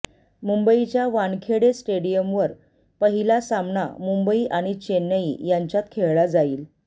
मुंबईच्या वानखेडे स्टेडियमवर पहिला सामना मुंबई आणि चेन्नई यांच्यात खेळला जाईल